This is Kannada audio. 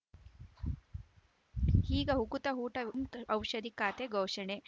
ಈಗ ಉಕುತ ಊಟ ಹ್ನ್ ಖಾತೆ ಘೋಷಣೆ